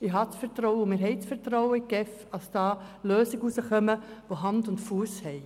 Wir vertrauen der GEF, dass dabei Lösungen herauskommen, die Hand und Fuss haben.